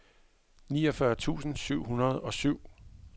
niogfyrre tusind syv hundrede og syv